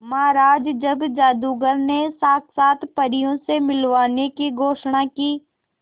महाराज जब जादूगर ने साक्षात परियों से मिलवाने की घोषणा की